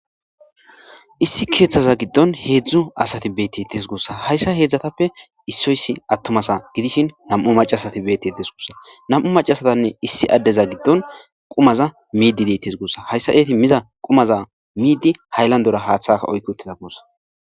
issi keeththaza giddon heedzdzu asati beettetes gossa hayssa heedzdzatappe issoyssi attomasa gidishin nam7u macasati beettetes gussa nam7u macasatanne issi addeza giddon qumaza miidi dettes goossa hayssa eeti miza qumaza miidi hayllandora haaththaka oykki uttiza koossa